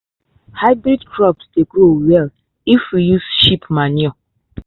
hybrid crops dey grow well if we use sheep manure.